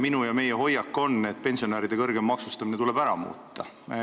Minu ja meie hoiak on, et pensionäride kõrgem maksustamine tuleb ära muuta.